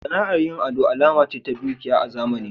Sana'ar yin ado alama ce ta dukiya a zamanin.